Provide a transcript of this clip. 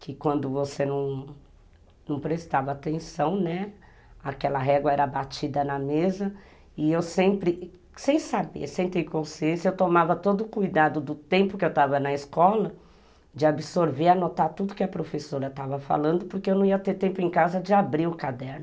que quando você não, não prestava atenção, né, aquela régua era batida na mesa, e eu sempre, sem saber, sem ter consciência, eu tomava todo o cuidado do tempo que eu estava na escola, de absorver, anotar tudo que a professora estava falando, porque eu não ia ter tempo em casa de abrir o caderno.